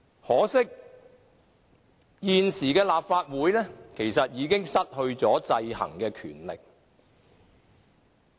可惜，現時的立法會已失去了制衡的權力。